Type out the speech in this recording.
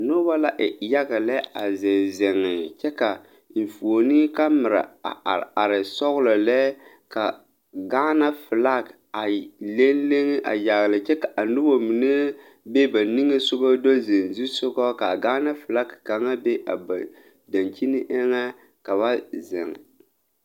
Nobɔ la e yaga lɛ a zeŋ zeŋ kyɛ ka enfuone kamira are are sɔglɔ lɛ ka gaana flak a leŋ leŋ a yagle kyɛ ka a nobɔ mine be ba niŋesugɔ do zeŋ zusugɔ kaa gaana flak kaŋa be a ba dankyini eŋɛ ka ba zeŋ.